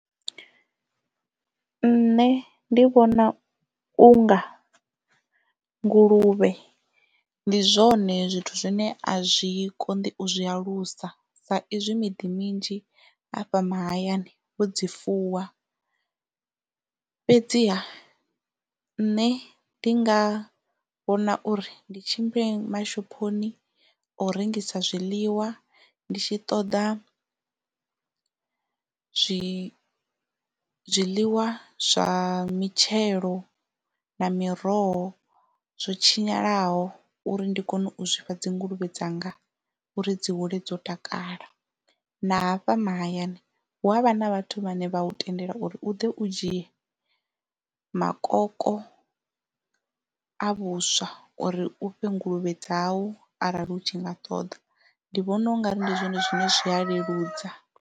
Nṋe ndi vhona unga nguluvhe ndi zwone zwithu zwine a zwi koṋdi u zwi alusa sa izwi miḓi minzhi hafha mahayani vho dzi fuwa fhedziha nṋe ndi nga vhona uri ndi tshimbile mashophoni o rengisa zwiḽiwa ndi tshi ṱoḓa zwi zwiḽiwa zwa mitshelo na miroho zwo tshinyalaho uri ndi kone u zwi fha dzi nguluvhe dza nga uri dzi hule dzo takala na hafha mahayani ya hu avha na vhathu vhane vha u tendela uri u ḓo u dzhie makoko a vhuswa uri u fhe nguluvhe dzau arali u tshi nga ṱoḓa ndi vhona ungari ndi zwone zwine zwi a leludza.